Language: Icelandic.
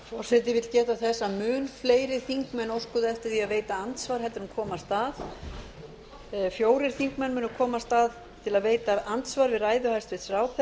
forseti vill geta þess að mun fleiri þingmenn óskuðu eftir því að veita andsvar en komast að